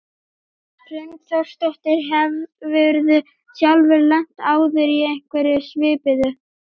Hrund Þórsdóttir: Hefurðu sjálfur lent áður í einhverju svipuðu?